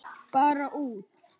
Bara út.